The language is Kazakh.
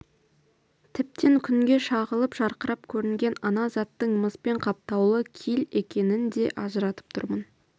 тіптен күнге шағылып жарқырап көрінген ана заттың мыспен қаптаулы киль екенін де ажыратып тұрмын